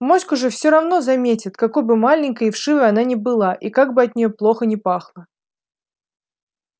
моську же всё равно заметят какой бы маленькой и вшивой она ни была и как бы от нее плохо ни пахло